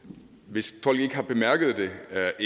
hvis folk ikke har bemærket det er